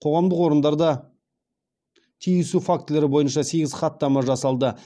қоғамдық орындарда тиісу фактілері бойынша сегіз хаттама жасалды